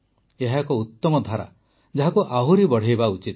ଏହା ଏକ ଉତ୍ତମ ଧାରା ଯାହାକୁ ଆହୁରି ବଢ଼ାଇବା ଉଚିତ